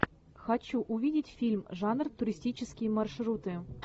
хочу увидеть фильм жанр туристические маршруты